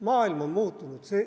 Maailm on muutunud.